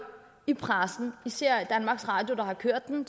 i pressen især er det danmarks radio der har kørt den